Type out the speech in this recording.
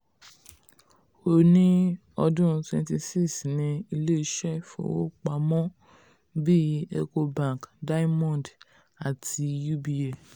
ó ní ọdún wenty six ní ilé iṣẹ́ fowó pamọ́ um bíi ecobank diamond um àti um uba.